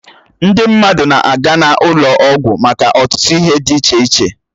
Ndị mmadụ na-aga n'ụlọ ọgwụ maka ọtụtụ ihe dị iche iche